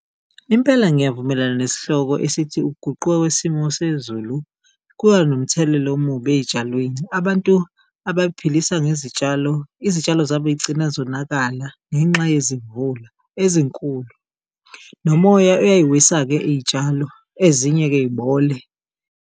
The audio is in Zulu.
Impela ngiyavumelana nesihloko esithi ukuguquka kwesimo sezulu kuba nomthelela omubi ey'tshalweni. Abantu abay'philisa ngezitshalo, izitshalo zabo zigcina zonakala ngenxa yezimvula ezinkulu, nomoya uyayiwisa-ke iy'tshalo ezinye-ke yibole.